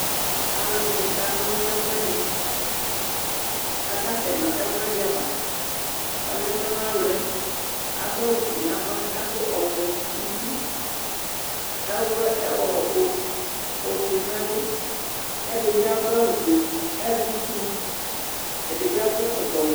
Aluɛdini ka na ɔlu nu ɛfuɛdi akasɛ nu ɛkuɛdi ava ɔliɛ tɔnalɛ adu awu ofue nava kadu ɔvɛ nu uti awlɛ ofue nu ɛlu ɛdibi adu awu ofue ɛdi azɛ itsu ɛdibi akɔ ɛkɔtɔ ɔwɛ